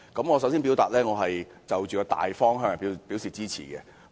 我首先表明，對於《修訂令》的大方向，我是支持的。